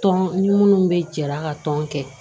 Tɔn ni minnu bɛ jala ka tɔn kɛ